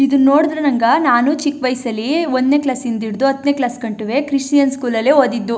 ಇದು ನೋಡಿದ್ರೆ ನಂಗ ನಾನು ಚಿಕ್ಕ್ ವ್ಯಸಲಿ ಒಂದ್ನೇ ಕ್ಲಾಸ್ಸಿನಿಂದ ಹಿಡಿದು ಹತ್ತನೇ ಕ್ಲಾಸ್ ಗಂಟುವೆ ಕ್ರಿಶ್ಚಿಯನ್ ಸ್ಕೂಲ್ ಅಲ್ಲೇ ಓದ್ದಿದ್ದು --